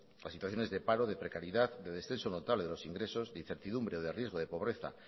las situaciones de paro de precariedad de descenso notable de los ingresos de incertidumbre de riesgo de pobreza